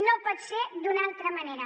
no pot ser d’una altra manera